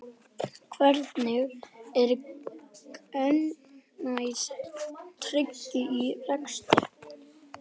Hvernig er gegnsæi tryggt í rekstri?